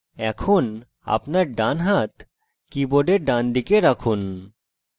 এখন আপনার ডানহাত কীবোর্ডের ডানদিকে রাখুন